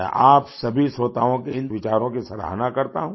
मैं आप सभी श्रोताओं के इस विचारों की सराहना करता हूँ